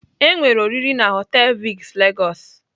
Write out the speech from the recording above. Enwere oriri na họtelụ Vic Lagos.